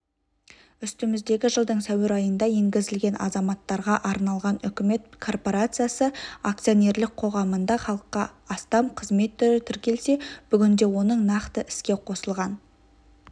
үстіміздегі жылдың сәуір айында енгізілген азаматтарға арналған үкімет корпорациясы акцоинерлік қоғамында халыққа астам қызмет түрі тіркелсе бүгінде оның нақты іске қосылған